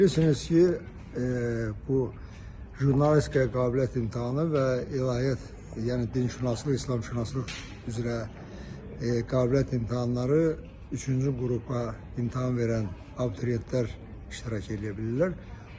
Bilirsiniz ki, bu jurnalistikaya qabiliyyət imtahanı və İlahiyyat, yəni dinşünaslıq, İslamşünaslıq üzrə qabiliyyət imtahanları üçüncü qrupa imtahan verən abituriyentlər iştirak edə bilirlər.